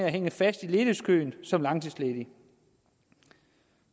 at hænge fast i ledighedskøen som langtidsledige